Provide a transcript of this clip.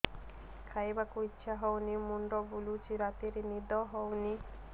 ଖାଇବାକୁ ଇଛା ହଉନି ମୁଣ୍ଡ ବୁଲୁଚି ରାତିରେ ନିଦ ହଉନି